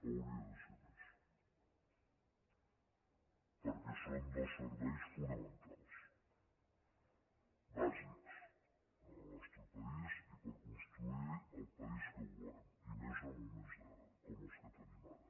hauria de ser més perquè són dos serveis fonamentals bàsics en el nostre país i per construir el país que volem i més en moments com els que tenim ara